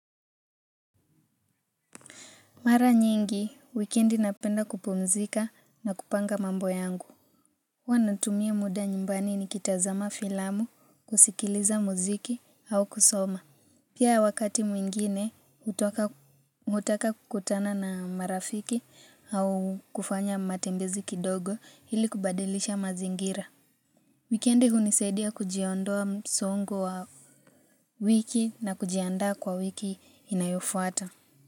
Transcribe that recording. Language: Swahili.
Mara nyingi, wikendi napenda kupumzika na kupanga mambo yangu. Huw natumia muda nyumbani nikitazama filamu, kusikiliza muziki au kusoma. Pia wakati mwingine, hutaka kukutana na marafiki au kufanya matembezi kidogo ili kubadilisha mazingira. Wikendi hunisaidia kujiondoa msongo wa wiki na kujianda kwa wiki inayofuata.